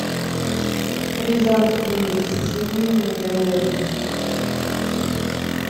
рязанские со свининой и говядиной